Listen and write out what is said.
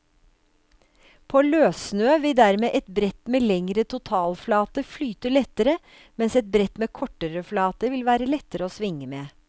På løssnø vil dermed et brett med lengre totalflate flyte lettere, mens et brett med kortere flate vil være lettere å svinge med.